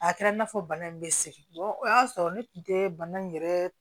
A kɛra i n'a fɔ bana in bɛ segin o y'a sɔrɔ ne tun tɛ bana in yɛrɛ